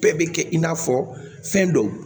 Bɛɛ bɛ kɛ i n'a fɔ fɛn dɔ